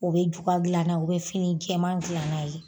O be juga dilan n'a u be fini jɛman dilan n'a ye.